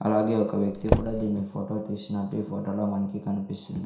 అలాగే ఒక వ్యక్తి కూడా దీన్ని ఫోటో తీసి నాటి ఈ ఫోటోలో మనకి కనిపిస్తుంది.